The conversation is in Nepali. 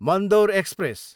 मन्दोर एक्सप्रेस